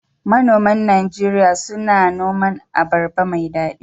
Manoman Najeriya suna noman abarba mai daɗi